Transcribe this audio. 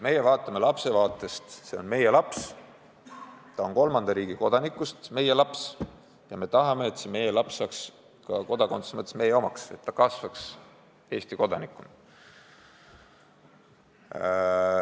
Meie lähtume lapsest: see on meie laps, ta on kolmanda riigi kodanikust meie laps ja me tahame, et see meie laps saaks ka kodakondsuse mõttes meie omaks ja kasvaks üles Eesti kodanikuna.